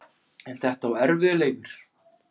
En þetta var erfiður leikur